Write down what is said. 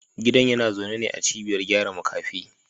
Gidan yana zaune ne a cibiyar gyara makafi